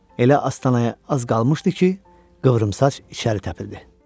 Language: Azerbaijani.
Elə astanaya az qalmışdı ki, qıvrımsaç içəri təpildi.